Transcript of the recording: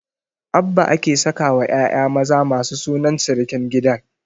Abba ake sakawa ƴaƴa maza masu sunan sirikin gidan